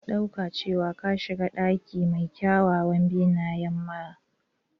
Ka ɗauka cewa ka shiga cikin ɗaki mai kyawawan benayen marmara.